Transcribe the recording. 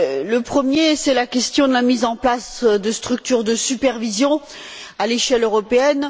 Le premier, c'est la question de la mise en place de structures de supervision à l'échelle européenne.